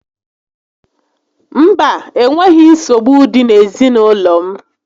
Mba, enweghị nsogbu dị n'ezinaụlọ m